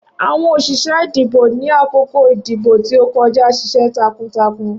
Awọn oṣiṣẹ idibo ni akoko idibo ti o kọja ṣiṣẹ takuntakun.